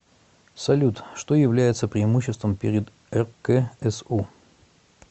салют что является преимуществом перед рксу